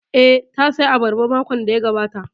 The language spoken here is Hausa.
Eh, ta saya abarba makon da ya gabata